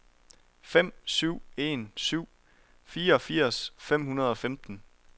fem syv en syv fireogfirs fem hundrede og femten